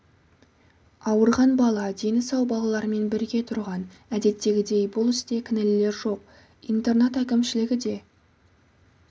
ауырған бала дені сау балалармен бірге тұрған әдеттегідей бұл істе кінәлілер жоқ интернат әкімшілігі де